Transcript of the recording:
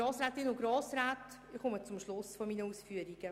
Ich komme zum Schluss meiner Ausführungen.